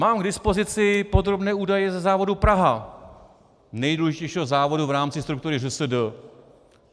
Mám k dispozici podrobné údaje ze závodu Praha, nejdůležitějšího závodu v rámci struktury ŘSD.